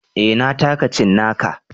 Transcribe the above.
Na taka cinnaka.